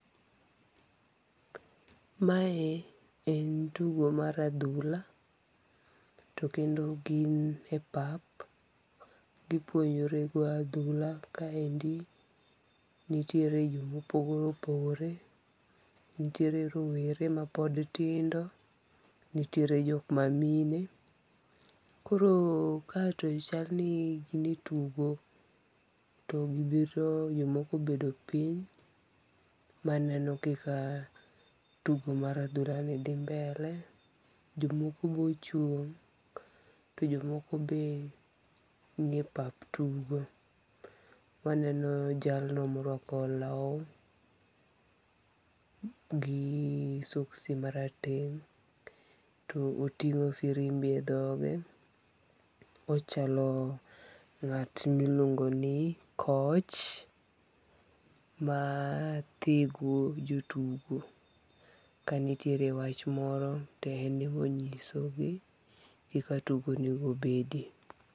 Mae en tugo mar adhula. To kendo gin e pap. Gipuonjore goyo adhula kaendi. Nitiere jomopogore opogore. Nitiere rowere ma pod tindo. Nitiere jok ma mine. Koro ka to chal ni gin e tugo. To gibiro jomoko obedo piny maneno kaka tugo mar adhula ni dhi mbele. Jomoko bo chung'. To jomoko be ni e pap tugo. Waneno jalno morwako law gi soxi marateng'. To oting'o firimbi e dhoge. Ochalo ng'at miluongo ni coach ma thego jotugo. Ka nitiere wach moro to en e monyiso gi kaka tugo onego bedi.